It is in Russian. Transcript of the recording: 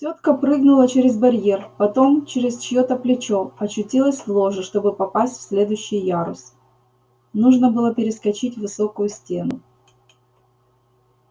тётка прыгнула через барьер потом через чьё-то плечо очутилась в ложе чтобы попасть в следующий ярус нужно было перескочить высокую стену